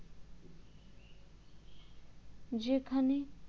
যেখানে